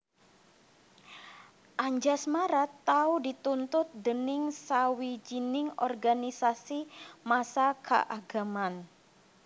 Anjasmara tau dituntut déning sawijining organisasi massa kaagaman